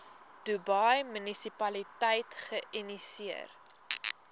dubai munisipaliteit geïnisieer